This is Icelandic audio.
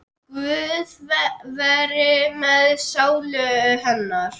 Guð veri með sálu hennar.